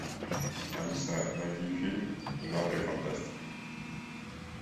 алиса найди фильм в жанре фантастика